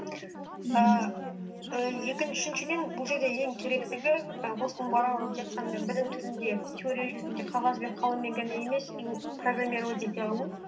ііі үшіншіден бұл жерде ең керектігі і осының барлығы тек қана білім түрінде теория жүзінде қағаз бем қаламмен емес им программировать ете алу